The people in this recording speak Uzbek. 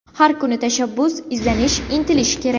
Har kuni tashabbus, izlanish, intilish kerak.